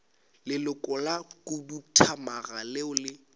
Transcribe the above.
leloko la khuduthamaga leo le